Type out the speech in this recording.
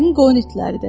Yəqin qoyun itləridir.